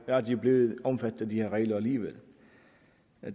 er de blevet omfattet af de her regler alligevel